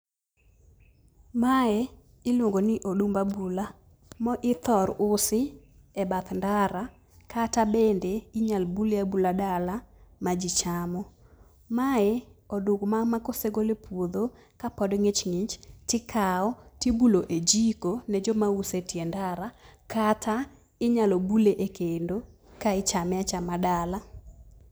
Mae iluongo ni odumb abula ma ithor usi ebath ndara, kata bende inyalo bule abula dala majichamo. Mae oduma makosegol epuodho kapod ng'ich ng'ich, tikawo tibulo e jiko nejoma uso etie ndara kata inyalo bule ekendo ka ichame achama dala.